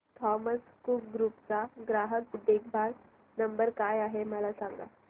Thomas Cook group चा ग्राहक देखभाल नंबर काय आहे मला सांगा